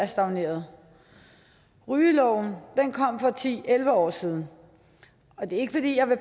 stagnerede rygeloven kom for ti elleve år siden og det er ikke fordi jeg vil